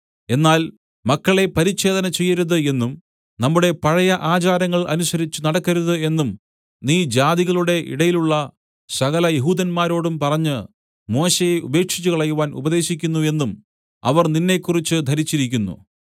എന്നാൽ മക്കളെ പരിച്ഛേദന ചെയ്യരുത് എന്നും നമ്മുടെ പഴയ ആചാരങ്ങൾ അനുസരിച്ചു നടക്കരുത് എന്നും നീ ജാതികളുടെ ഇടയിലുള്ള സകല യെഹൂദന്മാരോടും പറഞ്ഞ് മോശെയെ ഉപേക്ഷിച്ചുകളയുവാൻ ഉപദേശിക്കുന്നു എന്നും അവർ നിന്നെക്കുറിച്ച് ധരിച്ചിരിക്കുന്നു